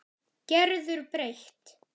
Gerður breytt.